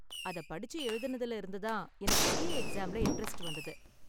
அதை படிச்சு எழுதுனதுல இருந்து தான் எனக்கு சிஏ எக்ஸாம்ல இண்டரெஸ்ட் வந்தது.